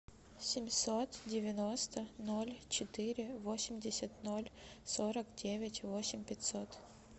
семьсот девяносто ноль четыре восемьдесят ноль сорок девять восемь пятьсот